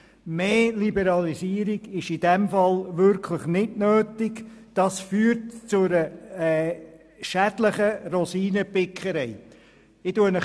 Mehr Liberalisierung ist in diesem Fall wirklich nicht nötig, denn das würde zu einer schädlichen Rosinenpickerei führen.